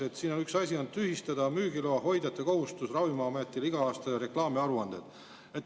Üks asi on see, et tühistada müügiloahoidjate kohustus Ravimiametile iga aasta reklaamiaruanded.